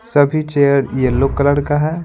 सभी chair yellow colour का है।